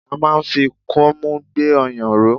A máa ń fi kọ́mú gbé ọyàn ró.